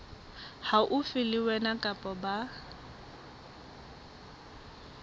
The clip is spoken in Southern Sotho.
haufi le wena kapa ba